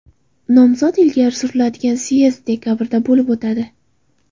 Nomzod ilgari suriladigan syezd dekabrda bo‘lib o‘tadi.